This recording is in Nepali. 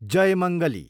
जयमंगली